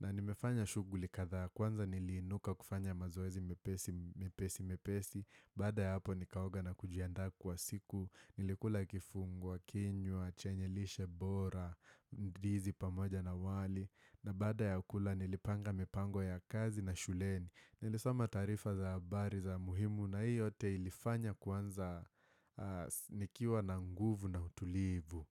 na nimefanya shughuli kadhaa kwanza niliinuka kufanya mazoezi mepesi mepesi mepesi, baada ya hapo nikaoga na kujiandaa kwa siku, nilikula kifungua, kinywa, chenye lishe bora, ndizi pamoja na wali na baada ya kula nilipanga mipango ya kazi na shuleni. Nilesoma taarifa za habari za muhimu na hii yote ilifanya kwanza nikiwa na nguvu na utulivu.